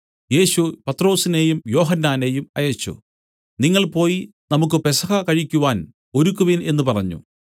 യേശു പത്രൊസിനെയും യോഹന്നാനെയും അയച്ചു നിങ്ങൾ പോയി നമുക്കു പെസഹ കഴിക്കുവാൻ ഒരുക്കുവിൻ എന്നു പറഞ്ഞു